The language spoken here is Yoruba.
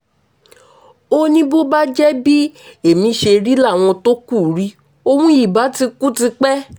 ó ní bó bá jẹ́ bí ẹ̀mí ṣe rí làwọn tó kù rí òun ìbá ti kú tipẹ́